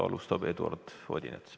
Alustab Eduard Odinets.